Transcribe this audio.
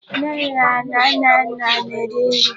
Nnenne na Nnanna na-eri nri.